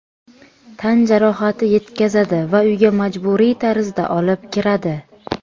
Tan jarohati yetkazadi va uyga majburiy tarzda olib kiradi.